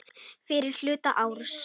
Fyrri hluta árs.